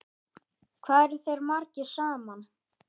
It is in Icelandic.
Hvað eru þeir margir saman?